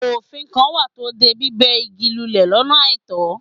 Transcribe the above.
Òfin kan wà tó de bíbẹ̀ igi lulẹ̀ lọ́nà àìtọ́.